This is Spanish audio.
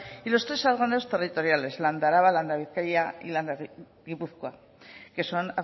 y los tres órganos territoriales landa araba landa bizkaia y landa gipuzkoa que son